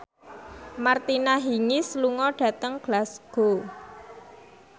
Martina Hingis lunga dhateng Glasgow